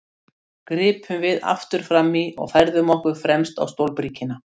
gripum við aftur fram í og færðum okkur fremst á stólbríkina.